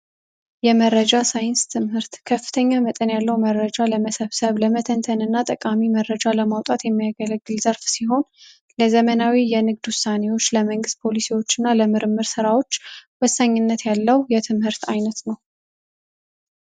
የመረጃ ሳይንስ ትምህርት ከፍተኛ መጠን ያለው መረጃ ለመሰብሰብ ለመተንተንና ጠቃሚ መረጃ ለማውጣት የሚያገለግል ዘርፍ ሲሆን ለዘመናዊ የንግድ ውሳኔዎች ለመንግስት ፖሊሲዎችና ለምርምር ስራዎች ወሳኝነት ያለው የትምህርት አይነት ነው